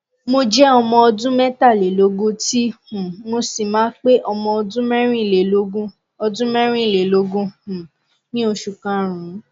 mri rẹ tun ko ṣe asọye ohunkohun ti ko ni deede ninu awọn isopọ sakroiliac rẹ